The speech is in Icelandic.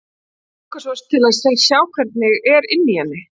Mig langar svo til að sjá hvernig er inni í henni.